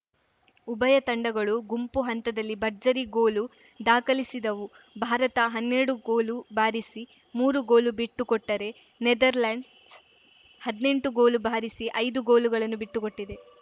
ಉಭಯ ತಂಡಗಳು ಗುಂಪು ಹಂತದಲ್ಲಿ ಭರ್ಜರಿ ಗೋಲು ದಾಖಲಿಸಿದವು ಭಾರತ ಹನ್ನೆರಡು ಗೋಲು ಬಾರಿಸಿ ಮೂರು ಗೋಲು ಬಿಟ್ಟುಕೊಟ್ಟರೆ ನೆದರ್‌ಲೆಂಡ್ಸ್‌ ಹದ್ನೆಂಟು ಗೋಲು ಬಾರಿಸಿ ಐದು ಗೋಲುಗಳನ್ನು ಬಿಟ್ಟುಕೊಟ್ಟಿದೆ